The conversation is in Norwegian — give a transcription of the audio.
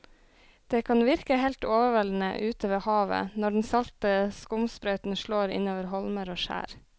Det kan virke helt overveldende ute ved havet når den salte skumsprøyten slår innover holmer og skjær.